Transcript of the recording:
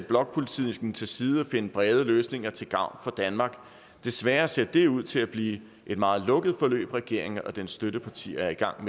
blokpolitikken til side og finde brede løsninger til gavn for danmark desværre ser det ud til at blive et meget lukket forløb regeringen og dens støttepartier er i gang